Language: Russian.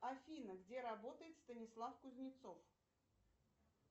афина где работает станислав кузнецов